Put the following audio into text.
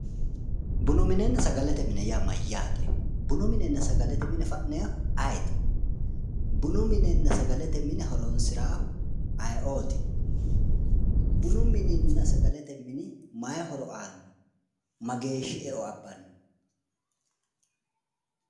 Bunu minenna sagalete mine yaa mayyaate? bunu minenna sgalete mine fa'neewoohu ayeeti? bunu minena sagalete mine horoonsiraahu ayee"ooti? bunu mininna sagalete mini maayi horo aanno? mageeshshi e'o abbanno?